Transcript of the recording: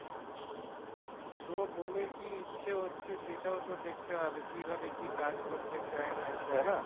তোমার বোনের কি ইচ্ছে হচ্ছে সেটাও তো দেখতে হবে কীভাবে কি কাজ করতে চায় না চায়